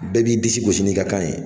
Bɛɛ b'i disi gosi n'i ka kan ye.